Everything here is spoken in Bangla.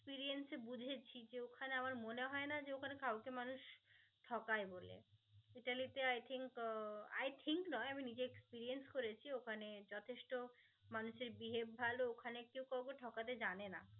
ওখানে কাউকে মানুষ ঠকায় বলে ইতালিতে i think uh i think নয় আমি নিজেই experience করেছি ওখানে যথেষ্ট মানুষের behave ভাল ওখানে কেউ কাউকে ঠকাতে জানেনা